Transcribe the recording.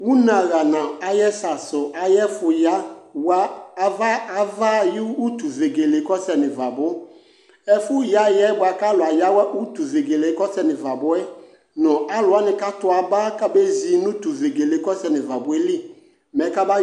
ʋnɛ aha na ayɛsɛ asʋ ayɛ fʋ ya wa aɣa aya ayʋ ʋtʋ vɛgɛlɛ kɔsɛnʋ iva bʋ ɛfʋ ya yɛ bʋakʋ alʋ ayawa ʋtʋ vɛgɛlɛ kɔ sɛnʋ iva buɛ nʋ alʋ wani ka tʋ aba ka bɛ zi nʋ ʋtʋvɛgɛlɛ kɔsɛnʋ iva buɛ li mɛ kɛba